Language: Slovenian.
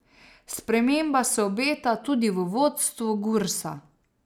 Sprememba se obeta tudi v vodstvu Gursa.